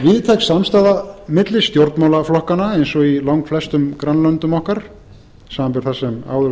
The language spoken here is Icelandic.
víðtæk samstaða milli stjórnmálaflokkanna eins og í langflestum grannlöndum okkar samanber það sem